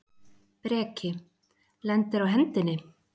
Breki: Lendir á hendinni?